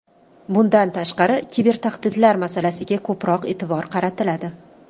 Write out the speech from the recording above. Bundan tashqari, kibertahdidlar masalasiga ko‘proq e’tibor qaratiladi.